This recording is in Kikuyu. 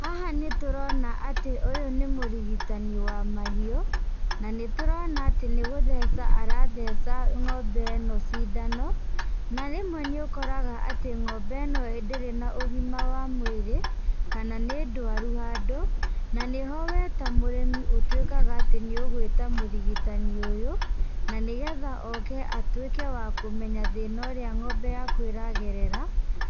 Haha nĩtũrona atĩ ũyũ nĩ mũrigitani wa mahiũ, na nĩtũrona atĩ nĩgũtheca aratheca ng'ombe ĩno cindano, na rĩmwe nĩũkoraga atĩ ng'ombe ĩno ndĩrĩ na ũgima wa mwĩrĩ, kana nĩ ndwaru handũ, na nĩho we ta mũrĩmi ũtuĩkaga atĩ nĩũgwĩta mũrigitani ũyũ, na nĩgetha oke atuĩke wa kũmenya thĩna ũrĩa ng'ombe yaku ĩragerera,